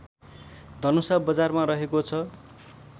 धनुषा बजारमा रहेको छ